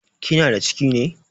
Kina da ciki ne?